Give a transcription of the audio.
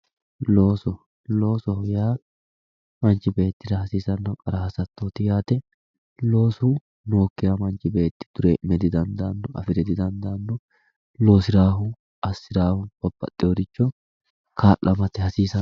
looso loosoho yaa manchi beetira kaimu hasatooti yaate loosu nookkiha manchi beeti duuroo'me didandaanno loosiraahu assiraahu babaxeworicho kaa'lamate hasiisanno